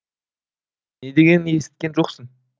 не дегенін есіткен жоқсың